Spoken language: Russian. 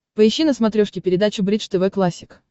поищи на смотрешке передачу бридж тв классик